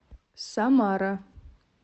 самара